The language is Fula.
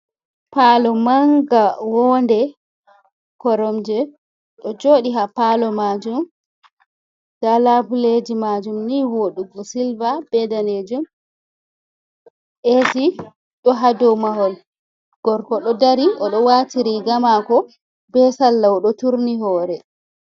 Palo manga, wonde, koromje ɗo joɗi ha palo majum. Nda labuleji majum ni voɗugo, silva be danejum, esi ɗo ha dou mahol, gorko ɗo dari oɗo wati riga mako be salla oɗo turni hore.